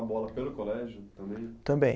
Bola pelo colégio também? Também